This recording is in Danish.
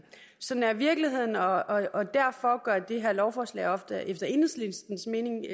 sådan er virkeligheden og derfor gør det her lovforslag efter enhedslistens mening